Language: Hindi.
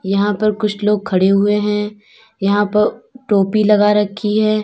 यहां पर कुछ लोग खड़े हुए है यहां पर टोपी लगा रखी है।